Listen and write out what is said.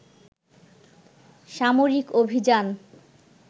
সামরিক অভিযান